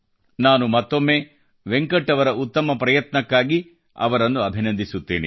ನಾನು ಮತ್ತೊಮ್ಮೆ ವೆಂಕಟ್ ಅವರ ಉತ್ತಮ ಪ್ರಯತ್ನಕ್ಕಾಗಿ ಅವರನ್ನು ಅಭಿನಂದಿಸುತ್ತೇನೆ